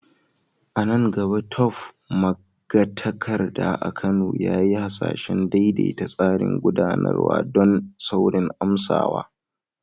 A nan gaba, Tope, magatakarda a Kano, ya yi hasashen daidaita tsarin gudanarwa don saurin amsawa.